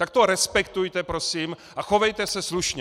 Tak to respektujte prosím a chovejte se slušně!